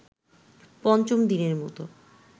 পঞ্চম দিনের মতো